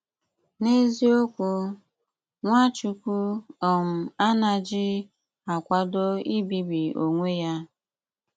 N'ézíokwú, Nwáchùkwù um áná́jí akwádó íbíbí onwè yá.